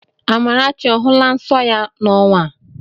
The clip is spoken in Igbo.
Amarachi ọ hụla nsọ ya n'ọnwa?